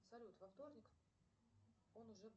салют во вторник он уже